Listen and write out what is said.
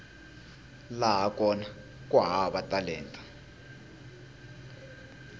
laha kona ku hava talenta